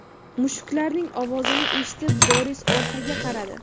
Mushuklarning ovozini eshitib, Doris orqaga qaradi.